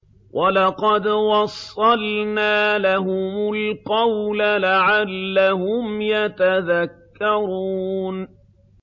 ۞ وَلَقَدْ وَصَّلْنَا لَهُمُ الْقَوْلَ لَعَلَّهُمْ يَتَذَكَّرُونَ